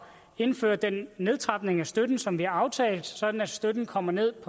indføre den nedtrapning af støtten som vi har aftalt sådan at støtten kommer ned